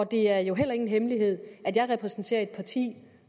det er jo heller ingen hemmelighed at jeg repræsenterer et parti